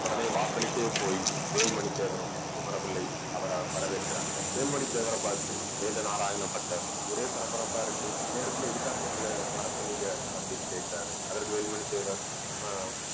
உடனே வாசலுக்கே போய் வேலுமணி தேவரும் குமரபிள்ளையும் அவரை வரவேற்கிறாங்க. வேலுமணி தேவரை பார்த்து வேதநாராயண பட்டர் ஒரே பரபரப்பா இருக்கு. இந்நேரத்துல எதுக்காக எங்களை வரச்சொன்னீங்க அப்படின்னு கேட்கிறாரு. அதற்கு வேலுமணி தேவர் நம்ம